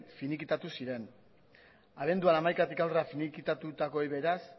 finikitatu ziren abenduaren hamaikatik aurrera finikitatutakoei beraz